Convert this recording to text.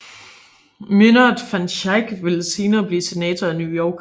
Myndert van Schaick ville senere blive senator af New York